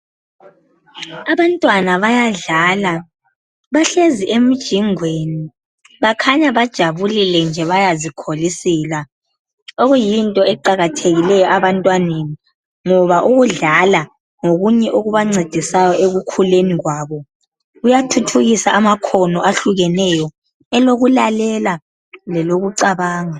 Abantwana bayadlala bahlezi emjingweni bakhanya bajabule nje bayazikholisela, okuyinto eqakathekileyo abantwaneni ngoba ukudlala ngokunye okubancedisa ekukhuleni kwabo. Kuyathuthukisa amakhono ahlukeneyo elokulalela lelokucabanga.